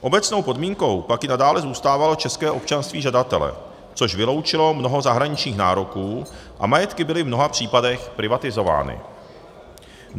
Obecnou podmínkou pak i nadále zůstávalo české občanství žadatele, což vyloučilo mnoho zahraničních nároků, a majetky byly v mnoha případech privatizovány.